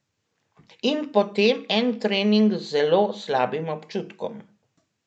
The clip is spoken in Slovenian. In potem en trening z zelo slabim občutkom.